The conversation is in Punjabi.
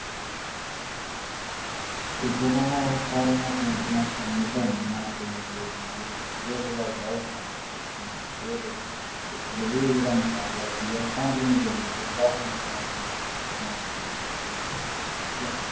ਤੇ ਜਦ ਸਾਰੀਆਂ ਪੈਂਟਿੰਗ sub submit ਹੋਗਿਆ ਤੇ ਅਗਲੇ ਦਿਨ ਫਿਰ ਓਹਦਾ result ਆਯਾ ਇਹ ਜਿਹੜਾ ਮੁਕਾਬਲਾ ਸੀਗਾ ਪੰਜਵੀ ਤੋਂ ਲੈ ਕੇ ਦਸਮੀ ਦੇ ਵਿਚ ਵਿਚ ਓਹਨਾ ਕਰਵਾਇਆ ਸੀਗਾ